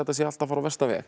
allt að fara á versta veg